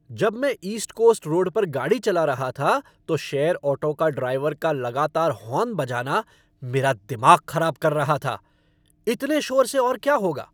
जब मैं East Coast Road पर गाड़ी चला रहा था तो शेयर ऑटो का ड्राइवर का लगातार हॉर्न बजाना मेरा दिमाग ख़राब कर रहा था। इतने शोर से और क्या होगा।